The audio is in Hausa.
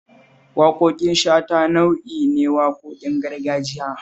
Waƙoƙin shata nau'i ne waƙoƙin gargajiya